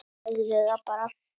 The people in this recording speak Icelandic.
Segðu það bara!